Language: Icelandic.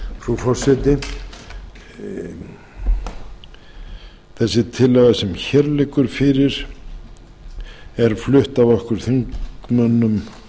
frú forseti þessi tillaga sem hér liggur fyrir er flutt af okkur þingmönnum